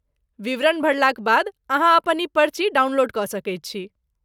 विवरण भरलाक बाद, अहाँ अपन ई पर्ची डाउनलोड कऽ सकैत छी।